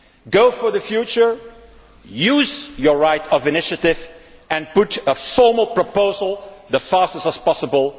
Go for the future, use your right of initiative and put a formal proposal on the table as fast as possible.